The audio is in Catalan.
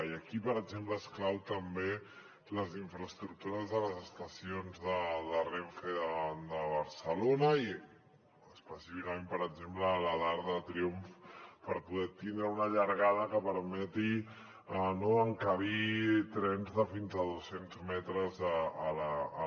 i aquí per exemple són claus també les infraestructures de les estacions de renfe de barcelona i específicament per exemple la d’arc de triomf per poder tindre una llargada que permeti no encabir trens de fins a dos cents metres a l’r1